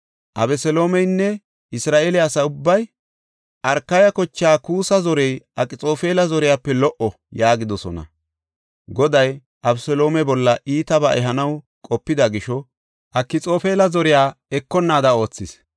Abeseloomeynne Isra7eele asa ubbay, “Arkaya kocha Kuussa zorey Akxoofela zoriyape lo77o” yaagidosona. Goday Abeseloome bolla iitabaa ehanaw qopidi gisho Akxoofela zoriya ekonnaada oothis.